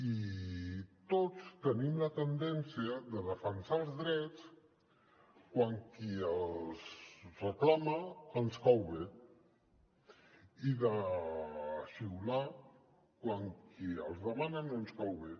i tots tenim la tendència a defensar els drets quan qui els reclama ens cau bé i de xiular quan qui els demana no ens cau bé